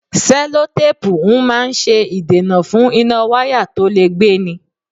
Sẹ́lótápùù ń máa ń ṣe ìdènà fún iná wáyà tó le gbé ni.